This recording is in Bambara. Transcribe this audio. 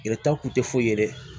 Yɛrɛta kun tɛ foyi ye dɛ